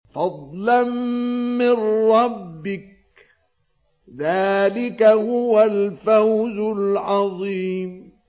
فَضْلًا مِّن رَّبِّكَ ۚ ذَٰلِكَ هُوَ الْفَوْزُ الْعَظِيمُ